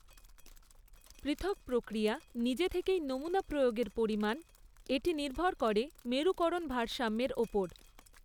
পৃথক প্রক্রিয়া নিজে থেকেই নমুনা প্রয়োগের পরিমাণ, এটি নির্ভর করে মেরুকরণ ভারসাম্যের ওপর।